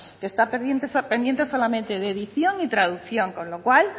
que está pendiente solamente de edición y traducción con lo cual